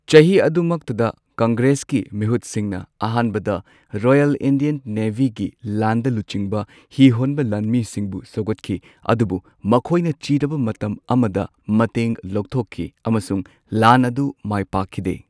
ꯆꯍꯤ ꯑꯗꯨꯃꯛꯇꯗ ꯀꯪꯒ꯭ꯔꯦꯁꯀꯤ ꯃꯤꯍꯨꯠꯁꯤꯡꯅ ꯑꯍꯥꯟꯕꯗ ꯔꯣꯌꯜ ꯏꯟꯗꯤꯌꯟ ꯅꯦꯚꯤꯒꯤ ꯂꯥꯟꯗ ꯂꯨꯆꯤꯡꯕ ꯍꯤ ꯍꯣꯟꯕ ꯂꯥꯟꯃꯤꯁꯤꯡꯕꯨ ꯁꯧꯒꯠꯈꯤ꯫ ꯑꯗꯨꯕꯨ ꯃꯈꯣꯏꯅ ꯆꯤꯔꯕ ꯃꯇꯝ ꯑꯃꯗ ꯃꯇꯦꯡ ꯂꯧꯊꯣꯛꯈꯤ ꯑꯃꯁꯨꯡ ꯂꯥꯟ ꯑꯗꯨ ꯃꯥꯢ ꯄꯥꯛꯈꯤꯗꯦ꯫